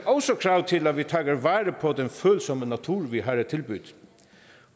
også krav til at vi tager vare på den følsomme natur vi har at tilbyde